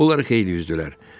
Onlar xeyli üzdülər.